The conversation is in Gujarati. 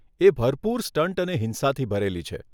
એ ભરપૂર સ્ટંટ અને હિંસાથી ભરેલી છે.